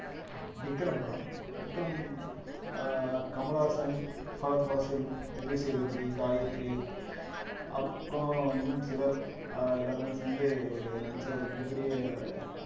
விக்ரம் படம் விக்ரம் அஹ் கமலஹாசன், ஃபகத் ஃபாசில், விஜய் சேதுபதி, காயத்ரி, அப்புறம் இன்னும் சிலர் அஹ் எல்லாருமே சேர்ந்து ஒரு நடிச்ச ஒரு மிகப் பெரிய